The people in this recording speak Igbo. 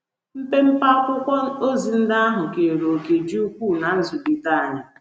Mpempe akwụkwọ ozi ndị ahụ keere òkè dị ukwuu ná nzụlite anyị. ”